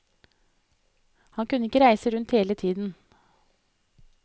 Han kunne ikke reise rundt hele tiden.